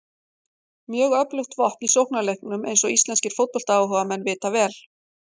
Mjög öflugt vopn í sóknarleiknum eins og íslenskir fótboltaáhugamenn vita vel.